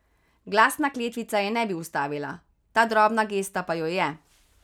Glasna kletvica je ne bi ustavila, ta drobna gesta pa jo je.